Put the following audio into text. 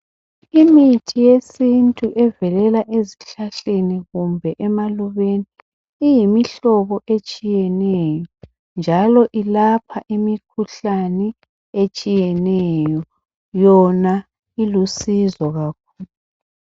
Imithi yesintu evelela ezihlahleni kumbe emalubeni iyimihlobo etshiyeneyo njalo ilapha imikhuhlane etshiyeneyo .Yona ilusizo kakhulu .